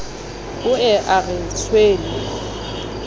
o ye a re tshwele